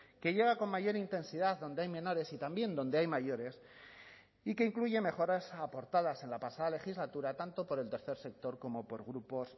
que llega con mayor intensidad donde hay menores y también donde hay mayores y que incluye mejoras aportadas en la pasada legislatura tanto por el tercer sector como por grupos